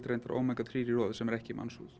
Omega þrjú í roði sem er ekki í